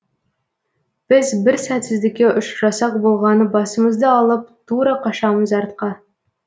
біз бір сәтсіздікке ұшырасақ болғаны басымызды алып тура қашамыз артқа